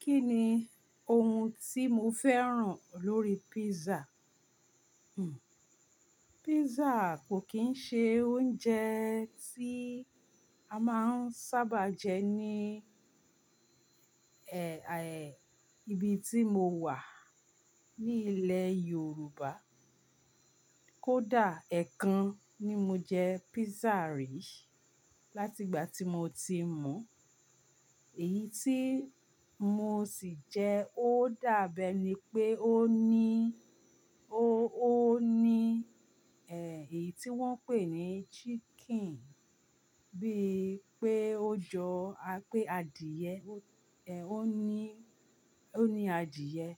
Kí ni oun tí mo fẹ́ràn lórí pizza? Hmm, pizza kò kín ń ṣe oúnjẹ tí a máa ń sábà jẹ ní ẹ́ẹ, ibi tí mo wà ní ilẹ̀ Yorùbá. Kódà ẹ́ẹ̀kan ni mo jẹ pizza rí láti ìgbà tí mo ti mọ̀. Èyí tí mo sì jẹ ó dábẹ́ ni pé ó ní, ó, ó ní, ẹ́ẹ, èyí tí wọ́n ń pè ní chicken, bí i pé ó jọ apé adìẹ, ẹ́ẹ, ó ní, ó ní adìẹ